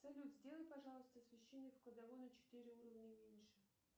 салют сделай пожалуйста освещение в кладовой на четыре уровня меньше